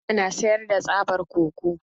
Habibu na sayar da tsaban koko.